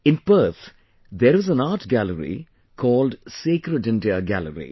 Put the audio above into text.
In Perth, there is an art gallery called Sacred India Gallery